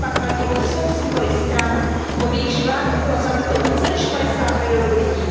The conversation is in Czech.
Srp a kladivo jsou symboly stran, pod jejichž vládou bylo zabito více než padesát milionů lidí.